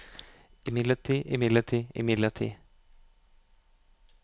imidlertid imidlertid imidlertid